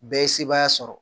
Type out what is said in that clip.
Bɛɛ ye sebaaya sɔrɔ